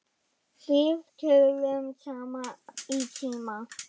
Við töluðum saman í síma.